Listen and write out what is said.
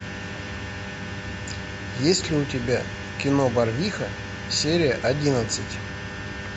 есть ли у тебя кино барвиха серия одиннадцать